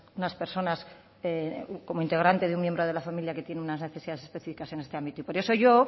unas personas como integrante de un miembro de la familia que tiene unas necesidades específicas en este ámbito por eso yo